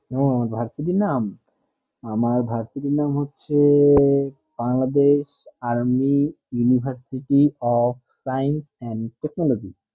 আমার varsity নাম আমার varsity নাম হচ্ছে bangladesh army university of science and technology